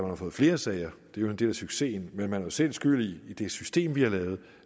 man får flere sager det er jo en del af succesen men vi er jo selv skyld i det system vi har lavet og